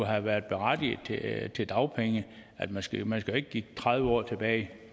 har været berettiget til dagpenge man skal man skal ikke kigge tredive år tilbage